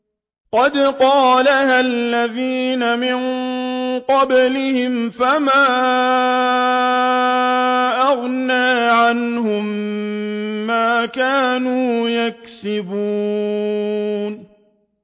قَدْ قَالَهَا الَّذِينَ مِن قَبْلِهِمْ فَمَا أَغْنَىٰ عَنْهُم مَّا كَانُوا يَكْسِبُونَ